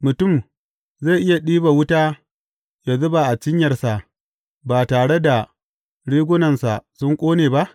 Mutum zai iya ɗiba wuta ya zuba a cinyarsa ba tare da rigunansa sun ƙone ba?